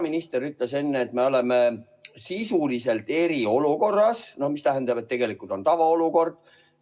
Peaminister ütles enne, et me oleme sisuliselt eriolukorras, mis tähendab, et tegelikult on tavaolukord.